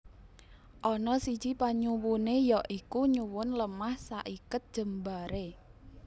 Ana siji panyuwuné ya iku nyuwun lemah saiket jembaré